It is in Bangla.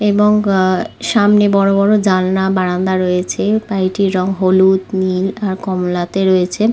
এবং আহ সামনে বড় বড় জানলা বারান্দা রয়েছে বাড়িটির রং হলুদ নীল আর কমলা তে রয়েছে।